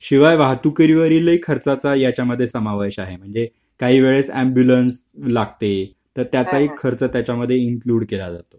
शिवाय वाहतुकीवरील खर्चाचा याच्या मध्ये समावेश आहे काही वेळेस ऍम्ब्युलन्स लागते तर त्याचाही खर्च त्याच्यामध्ये इंन्कलुड केला जातो